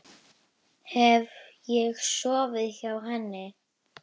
Hef ég sofið hjá henni?